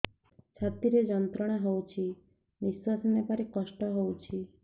ଛାତି ରେ ଯନ୍ତ୍ରଣା ହଉଛି ନିଶ୍ୱାସ ନେବାରେ କଷ୍ଟ ହଉଛି